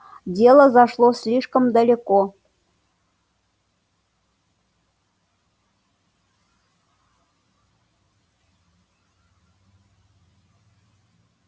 дело зашло слишком далеко